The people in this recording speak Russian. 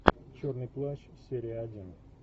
черный плащ серия один